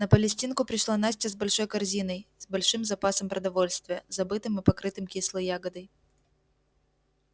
на палестинку пришла настя с большой корзиной с большим запасом продовольствия забытым и покрытым кислой ягодой